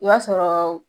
I b'a sɔrɔ